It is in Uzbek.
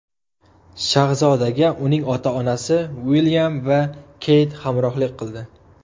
Shahzodaga uning ota-onasi Uilyam va Keyt hamrohlik qildi.